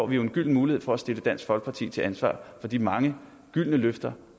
vi jo en gylden mulighed for at stille dansk folkeparti til ansvar for de mange gyldne løfter